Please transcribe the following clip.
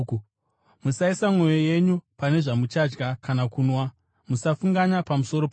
Musaisa mwoyo yenyu pane zvamuchadya kana kunwa; musafunganya pamusoro pazvo.